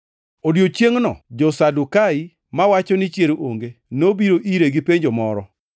Odiechiengʼno jo-Sadukai, mawacho ni chier onge, nobiro ire gi penjo moro.